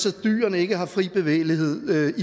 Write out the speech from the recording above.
at dyrene ikke har fri bevægelighed ved